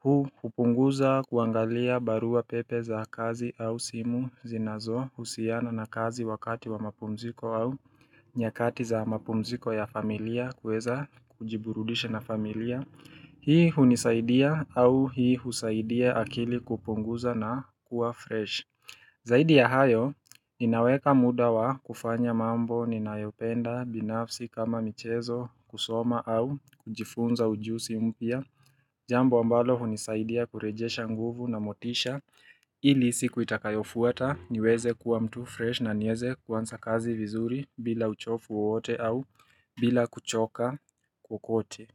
Huu hupunguza kuangalia barua pepe za kazi au simu zinazohusiana na kazi wakati wa mapumziko au nyakati za mapumziko ya familia kuweza kujiburudisha na familia Hii hunisaidia au hii husaidia akili kupunguza na kuwa fresh Zaidi ya hayo, ninaweka muda wa kufanya mambo ninayopenda binafsi kama michezo kusoma au kujifunza ujuzi mpya Jambo ambalo hunisaidia kurejesha nguvu na motisha ili siku itakayofuata niweze kuwa mtu fresh na niweze kuanza kazi vizuri bila uchovu wowote au bila kuchoka kokote.